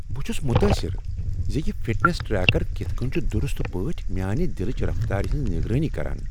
بہٕ چُھس متٲثر زِ یہ فٹنس ٹریکر کتھ کٔنہِ چُھ درست پٲٹھۍ میانِہ دلٕچ رفتارِ ہٕنز نگرٲنی کران۔